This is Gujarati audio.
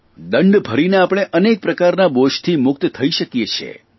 દંડ ભરીને આપણે અનેક પ્રકારના બોજથી મુક્ત થઇ શકીએ છીએ